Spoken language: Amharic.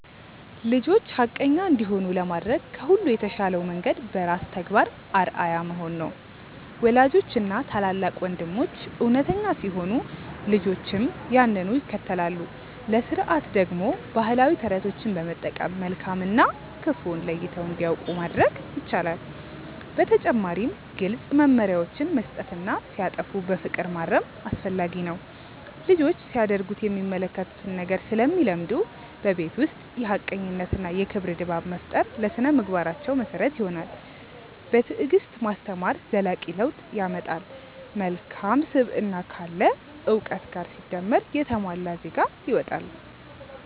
ልጆች ሐቀኛ እንዲሆኑ ለማድረግ ከሁሉ የተሻለው መንገድ በራስ ተግባር አርአያ መሆን ነው። ወላጆችና ታላላቅ ወንድሞች እውነተኛ ሲሆኑ ልጆችም ያንኑ ይከተላሉ። ለሥርዓት ደግሞ ባህላዊ ተረቶችን በመጠቀም መልካም እና ክፉን ለይተው እንዲያውቁ ማድረግ ይቻላል። በተጨማሪም ግልጽ መመሪያዎችን መስጠትና ሲያጠፉ በፍቅር ማረም አስፈላጊ ነው። ልጆች ሲያደርጉት የሚመለከቱትን ነገር ስለሚለምዱ፣ በቤት ውስጥ የሐቀኝነትና የክብር ድባብ መፍጠር ለሥነ-ምግባራቸው መሰረት ይሆናል። በትዕግስት ማስተማር ዘላቂ ለውጥ ያመጣል። መልካም ስብዕና ካለ እውቀት ጋር ሲደመር የተሟላ ዜጋ ይወጣል።